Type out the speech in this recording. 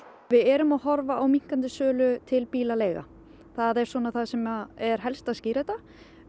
við erum að horfa á minnkandi sölu til bílaleiga það er það sem er helst að skýra þetta